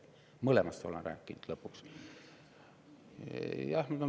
Mõlemast olen lõpuks rääkinud.